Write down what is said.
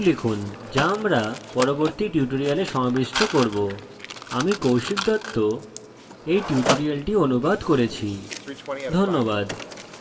শীঘ্রই দেখা হবে আমি কৌশিক দত্ত tutorial অনুবাদ করেছি